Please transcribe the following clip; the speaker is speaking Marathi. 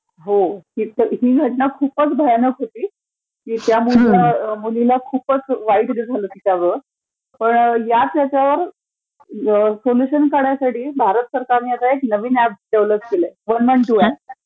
हो ती घटना खूपचं भयानक होती, त्या मुलीला म्हणजे खूपचं वाईट not clear पण ह्याच ह्याच्यावर सोल्यूशन काढण्यासाठी भारत सरकारने आता एक नवीन ऍप डेव्हेलेप केलंय, वन वन टू ऍप